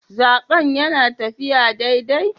Zaben yana taffiya daidai?